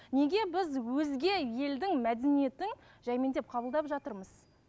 неге біз өзге елдің мәдениетін жаймендеп қабылдап жатырмыз